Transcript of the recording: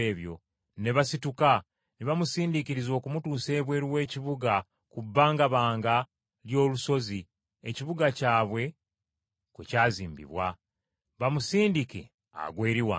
ne basituka, ne bamusindiikiriza okumutuusa ebweru w’ekibuga ku bbangabanga ly’olusozi ekibuga kyabwe kwe kyazimbibwa, bamusindike agwe eri wansi.